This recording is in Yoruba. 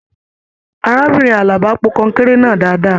Arákùnrin Àlàbá pò kọnkéré náà dáadáa.